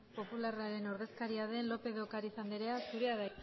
popularraren ordezkaria den lópez de ocariz anderea zurea da